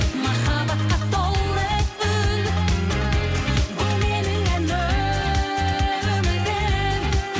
махаббатқа толы үн бұл менің ән өмірім